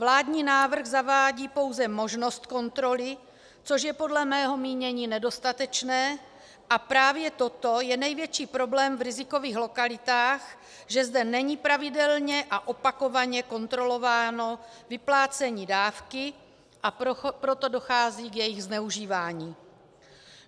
Vládní návrh zavádí pouze možnost kontroly, což je podle mého mínění nedostatečné, a právě toto je největší problém v rizikových lokalitách, že zde není pravidelně a opakovaně kontrolováno vyplácení dávky, a proto dochází k jejímu zneužívání.